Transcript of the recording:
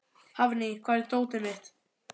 Hafný, hvar er dótið mitt?